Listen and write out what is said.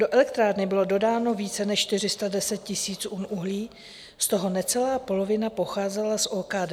Do elektrárny bylo dodáno více než 410 000 tun uhlí, z toho necelá polovina pocházela z OKD.